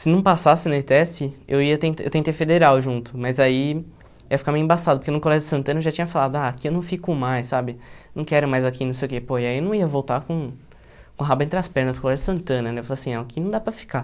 se não passasse na ETESP, eu ia ten, eu tentei federal junto, mas aí ia ficar meio embaçado, porque no colégio Santana eu já tinha falado, ah, aqui eu não fico mais, sabe, não quero mais aqui, não sei o que, pô, e aí eu não ia voltar com o rabo entre as pernas para o colégio Santana, né, eu falava assim, ó, aqui não dá para ficar.